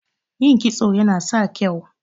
Yin kitso Yana sa ka kyau.